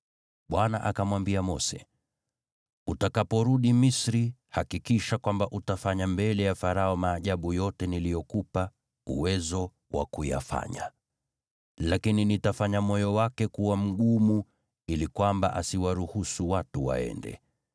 Bwana akamwambia Mose, “Utakaporudi Misri, hakikisha kwamba utafanya mbele ya Farao maajabu yote niliyokupa uwezo wa kuyafanya. Lakini nitafanya moyo wake kuwa mgumu ili kwamba asiwaruhusu watu waende.